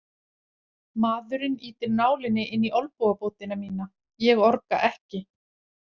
Maðurinn ýtir nálinni inn í olnbogabótina mína, ég orga ekki.